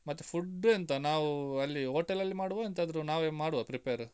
ಮತ್ತೆ food ಎಂತ ನಾವು ಅಲ್ಲಿ hotel ಅಲ್ಲಿ ಮಾಡ್ವಾ, ಎಂತಾದ್ರೂ ನಾವೇ ಮಾಡುವ prepare .